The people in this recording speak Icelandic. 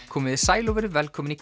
komiði sæl og verið velkomin í